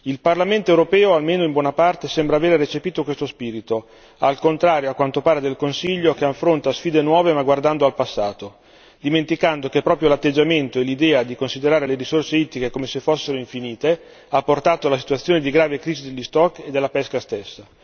Il Parlamento europeo, almeno in buona parte, sembra aver recepito questo spirito, al contrario a quanto pare del Consiglio, che affronta sfide nuove ma guardando al passato, dimenticando che proprio l'atteggiamento e l'idea di considerare le risorse ittiche come se fossero infinite ha portato alla situazione di grave crisi degli stock e della pesca stessa.